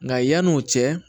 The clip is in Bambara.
Nka yanni o cɛ